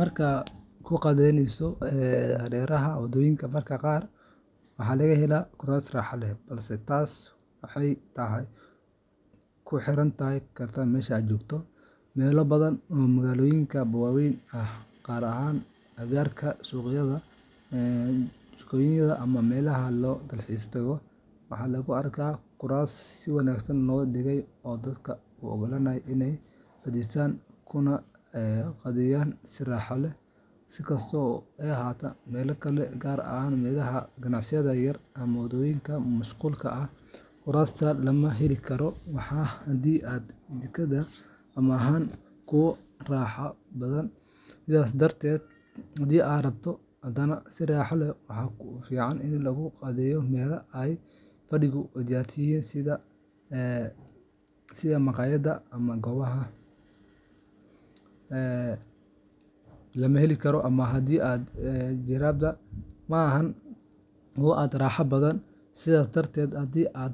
Markaad ku qadaynayso hareeraha wadooyinka, mararka qaar waxaa laga helaa kuraas raaxo leh, balse taasi waxay ku xirnaan kartaa meesha aad joogto. Meelo badan oo magaalooyinka waaweyn ah, gaar ahaan agagaarka suuqyada, jardiinooyinka ama meelaha loo dalxiis tago, waxaa lagu arkaa kuraas si wanaagsan loo dhigay oo dadka u oggolaanaya inay fadhiistaan kuna qadayaan si raaxo leh. Si kastaba ha ahaatee, meelo kale, gaar ahaan meelaha ganacsiga yaryar ama waddooyinka mashquulka ah, kuraasta lama heli karo ama haddii ay jiraanba, ma aha kuwo aad u raaxo badan. Sidaas darteed, haddii aad